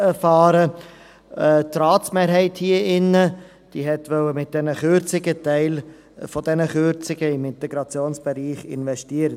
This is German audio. Die Ratsmehrheit hier drin wollte mit diesen Kürzungen einen Teil dieser Kürzungen in den Integrationsbereich investieren.